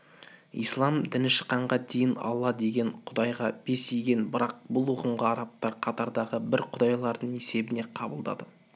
ислам діні шықканға дейін алла деген құдайға бас иген бірақ бұл ұғымға арабтар қатардағы бір құдайлардың есебінде қабылдады